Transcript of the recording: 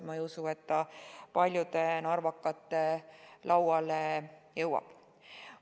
Ma ei usu, et see kuigi paljude narvakate lauale jõuab.